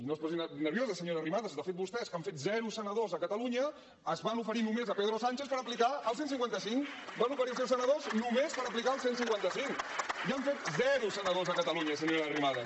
no es posi nerviosa senyora arrimadas de fet vostès que han fet zero senadors a catalunya es van oferir només a pedro sánchez per aplicar el cent i cinquanta cinc van oferir els seus senadors només per aplicar el cent i cinquanta cinc i han fet zero senadors a catalunya senyora arrimadas